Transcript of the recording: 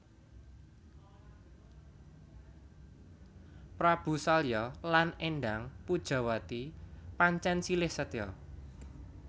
Prabu Salya lan Endang Pujawati pancèn silih setya